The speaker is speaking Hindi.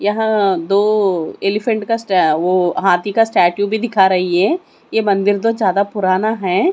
यहां दो एलीफेंट का वो हाथी का स्टैचू भी दिखा रही है ये मंदिर तो ज्यादा पुराना है।